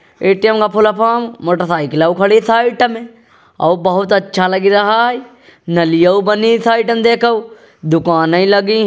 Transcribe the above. ATM. का full form मोटरसाइकिलौ खड़ी साइट में और बहुत अच्छा लगी रहा है। नलियौ बनी साइटन देखौ। दुकानें लगी।